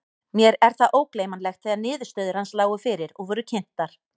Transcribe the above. Mér er það ógleymanlegt þegar niðurstöður hans lágu fyrir og voru kynntar.